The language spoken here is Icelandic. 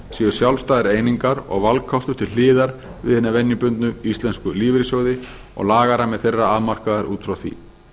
séu sjálfstæðar einingar og valkostur til hliðar við hina venjubundnu íslensku lífeyrissjóði og lagarammi þeirra afmarkaður út frá því